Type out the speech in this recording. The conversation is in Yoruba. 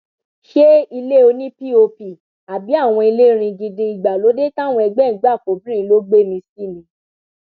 ṣe ilé òní pop àbí àwọn ilé ringindin ìgbàlódé táwọn ẹgbẹ ẹ ń gbà fọbìnrin ló gbé mi sí ni